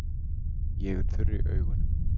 Ég er þurr í augunum.